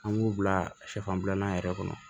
An b'u bila sɛfan bilanan yɛrɛ kɔnɔ